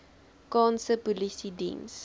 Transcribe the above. kaanse polisie diens